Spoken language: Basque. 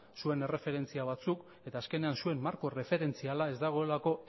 zuen erreferentzia batzuk eta azkenean zuen marko erreferentziala ez dagoelako